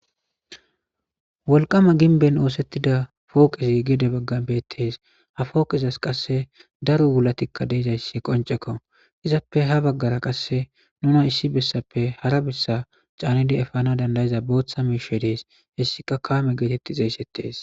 Wolqama ginben oosettida pooqezi gede baggan beettees ha fooqezas qasse daro wulatikka deezayssi qoncekko izappe ha baggara qasse nuna issi bessappe hara bessa caanidi efana dandayiza booththa meshe dees hessika kaame geetetti xeeyssettees